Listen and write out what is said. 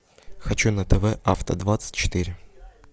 хочу на тв авто двадцать четыре